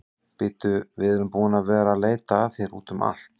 Bíddu, við erum búin að vera að leita að þér úti um allt.